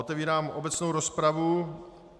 Otevírám obecnou rozpravu.